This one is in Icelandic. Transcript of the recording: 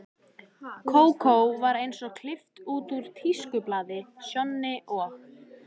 Kókó var eins og klippt út úr tískublaði, Sjonni og